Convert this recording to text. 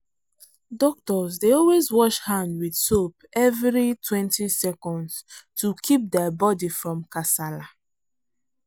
doctors dey always wash hand with soap everitwentyseconds to kip der body from kasala.